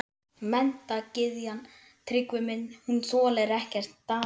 Seguljárnsteinn er fjórða algengasta steind í basalti og gabbrói.